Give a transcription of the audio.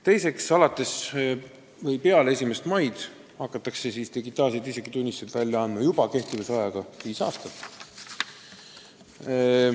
Teiseks, peale 1. maid hakatakse välja andma digitaalseid isikutunnistusi kehtivusajaga viis aastat.